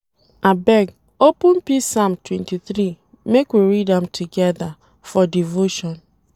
Abeg, open Psalm 23 make we read am together for devotion.